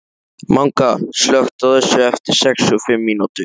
Manga, slökktu á þessu eftir sextíu og fimm mínútur.